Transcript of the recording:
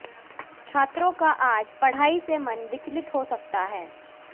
छात्रों का आज पढ़ाई से मन विचलित हो सकता है